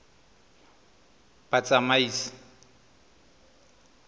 batsamaisi